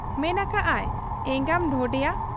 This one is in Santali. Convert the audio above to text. ᱢᱮᱱ ᱟᱠᱟᱜ ᱟᱭ, 'ᱮᱸᱜᱟᱢ ᱰᱷᱚᱰᱮᱭᱟ !